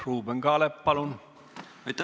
Ruuben Kaalep, palun!